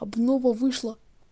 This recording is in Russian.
обнова вышла